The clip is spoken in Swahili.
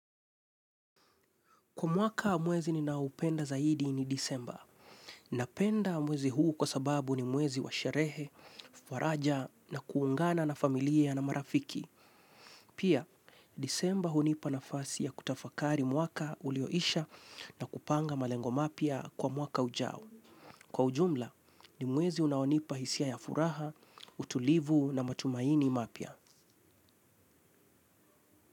Kwa mwaka mwezi ninaupenda zaidi ni disemba. Napenda mwezi huu kwa sababu ni mwezi wa sherehe, faraja na kuungana na familia na marafiki. Pia, disemba hunipa nafasi ya kutafakari mwaka ulioisha na kupanga malengo mapya kwa mwaka ujao. Kwa ujumla, ni mwezi unaonipa hisia ya furaha, utulivu na matumaini mapya.